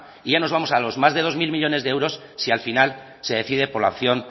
y ya nos vamos a los más de dos mil millónes de euros si al final se decide por la opción